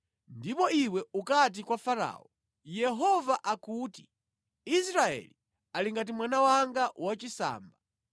Ndipo iwe ukati kwa Farao, ‘Yehova akuti, Israeli ali ngati mwana wanga wachisamba.’